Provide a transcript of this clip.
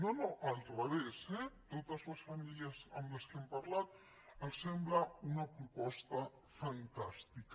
no no al revés eh a totes les famílies amb què hem parlat els sembla una proposta fantàstica